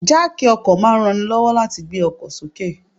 Jáákì ọkọ̀ máa ń ranni lọ́wọ́ láti gbé ọkọ̀ sókè.